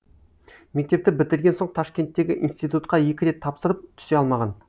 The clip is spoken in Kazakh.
мектепті бітірген соң ташкенттегі институтқа екі рет тапсырып түсе алмаған